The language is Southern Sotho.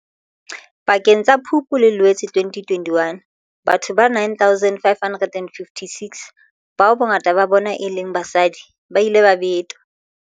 Pakeng tsa Phupu le Loetse 2021, batho ba 9 556, bao bongata ba bona e neng e le basadi, ba ile ba betwa.